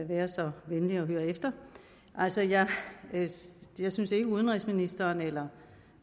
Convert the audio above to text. være så venlig at høre efter altså jeg synes ikke at udenrigsministeren eller